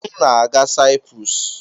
M na-aga Saịprọs.